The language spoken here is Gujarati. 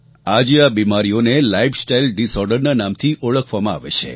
આજે આ બીમારીઓને લાઇફસ્ટાઇલ ડિસઑર્ડરના નામથી ઓળખવામાં આવે છે